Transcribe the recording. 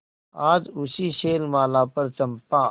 आज उसी शैलमाला पर चंपा